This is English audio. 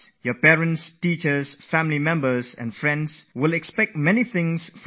Your parents, your teachers, your family members and your friends have a lot of expectations from you